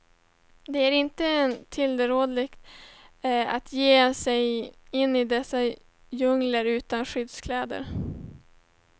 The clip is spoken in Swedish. Det är inte tillrådligt att ge sig in i dessa djungler utan skyddskläder.